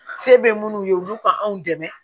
Se bɛ minnu ye olu ka anw dɛmɛ